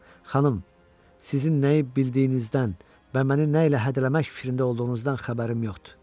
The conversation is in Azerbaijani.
Xanım, sizin nəyi bildiyinizdən və məni nə ilə hədələmək fikrində olduğunuzdan xəbərim yoxdur.